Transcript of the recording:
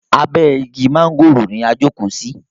Abe igi mángòrò ni a jókò sí.